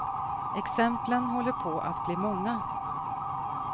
Exemplen håller på att bli många.